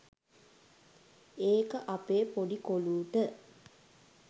ඒක අපේ පොඩි කොලූට